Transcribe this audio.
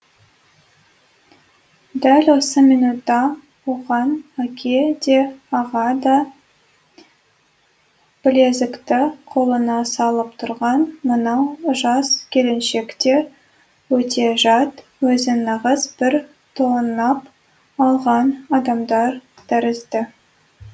дәл осы минутта оған әке де аға да білезікті қолына салып тұрған мынау жас келіншек те өте жат өзін нағыз бір тонап алған адамдар тәрізді